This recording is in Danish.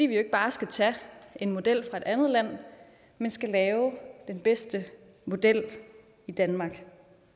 vi ikke bare skal tage en model fra et andet land men skal lave den bedste model i danmark